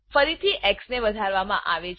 ફરીથી એક્સ ને વધારવા માં આવે છે